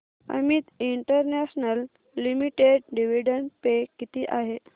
Amit international limited dividend pay किती आहे